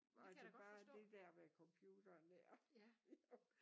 Var det bare det der med computeren der